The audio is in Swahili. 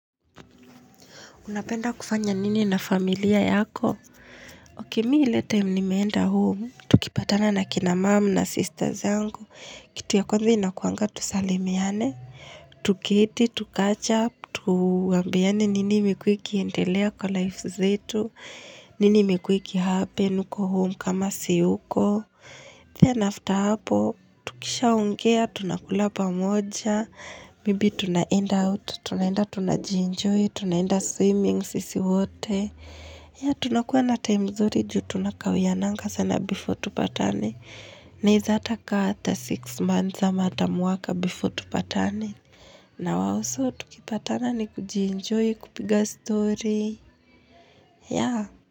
Unapenda kufanya nini na familia yako? Okay mimi ile time nimeenda home, tukipatana na kina mum na sisters yangu. Kitu ya kwanza inakuanga tusalimiane, tuketi, tu catch up, tuambiane nini imekuwa ikiendelea kwa life zetu, nini imekuwa ikihappen huko home kama siyuko. Then after hapo, tukishaongea, tunakula pamoja, maybe tunaenda out, tunaenda tunajienjoy, tunaenda swimming sisi wote yah tunakuwa na time nzuri juu tunakawiananga sana before tupatane naweza hata kaa six months ama hata mwaka before tupatane na wao. So tukipatana ni kujienjoy kupiga story ya.